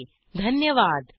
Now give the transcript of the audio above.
सहभागासाठी धन्यवाद